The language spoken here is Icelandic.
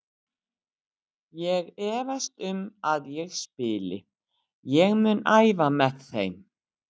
Ég efast um að ég spili, ég mun æfa með þeim.